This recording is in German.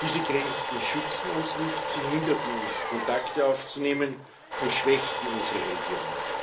Diese Grenzen schützten uns nicht, sie hinderten uns, Kontakte aufzunehmen und schwächten unsere Region.